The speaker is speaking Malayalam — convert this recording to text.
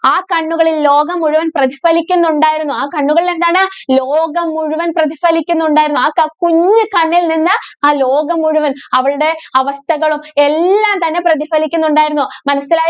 ആ കണ്ണുകളില്‍ ലോകം മുഴുവന്‍ പ്രതിഫലിക്കുന്നുണ്ടായിരുന്നു. ആ കണ്ണുകളില്‍ എന്താണ്? ലോകം മുഴുവന്‍ പ്രതിഫലിക്കുന്നുണ്ടായിരുന്നു. ആ ക കുഞ്ഞുകണ്ണില്‍ നിന്ന് ആ ലോകം മുഴുവന്‍ അവളുടെ അവസ്ഥകളും, എല്ലാം തന്നെ പ്രതിഫലിക്കുന്നുണ്ടായിരുന്നു. മനസ്സിലാ~